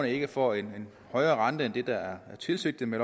ikke får en højere rente end det der var tilsigtet med